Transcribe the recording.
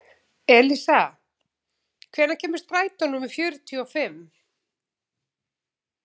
Elísa, hvenær kemur strætó númer fjörutíu og fimm?